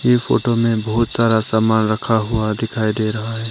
ये फोटो में बहुत सारा समान रखा हुआ दिखाई दे रहा है।